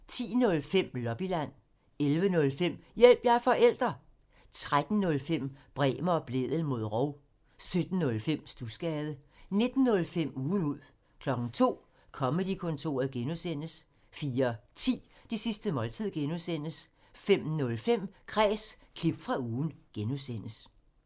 10:05: Lobbyland 11:05: Hjælp – jeg er forælder! 13:05: Bremer og Blædel mod rov 17:05: Studsgade 19:05: Ugen ud 02:00: Comedy-kontoret (G) 04:10: Det sidste måltid (G) 05:05: Kræs – klip fra ugen (G)